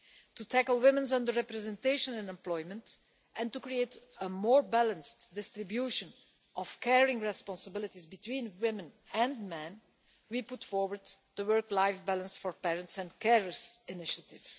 To tackle women's under representation in employment, and to create a more balanced distribution of caring responsibilities between women and men, we put forward the Work Life Balance for Parents and Carers initiative.